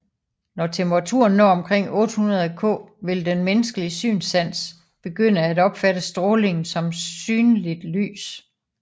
Når temperaturen når omkring 800 K vil den menneskelige synssans begynde at opfatte strålingen som synligt lys